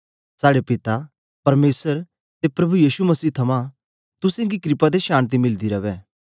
साड़े पिता परमेसर ते प्रभु यीशु मसीह थमां तुसेंगी क्रपा ते शान्ति मिलदी रवै